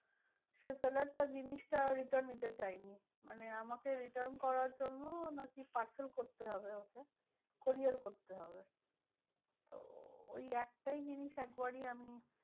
সেই seller টা জিনিসটা return নিতে চায়নি মানে আমাকে return করার জন্য নাকি parcel করতে হবে ওকে courier করতে হবে। তো ওই একটাই জিনিস একবারই আমি